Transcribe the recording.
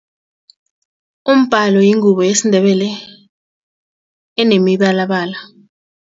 Umbhalo yingubo yesiNdebele enemibalabala.